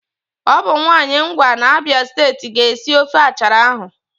Ọ bụ nwaanyị Ngwa n'Abịa steeti ga-esi ofe achara ahụ